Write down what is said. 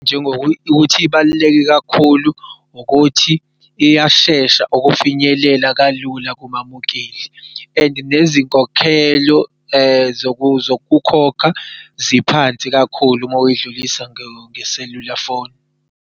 Njengokuthi ibaluleke kakhulu ukuthi iyashesha ukufinyelela kalula kubabukeli and nezinkokhelo zokukhokha ziphansi kakhulu ma wuyidlulisa ngeselula phone.